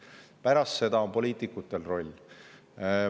Pärast seda on poliitikutel selles roll.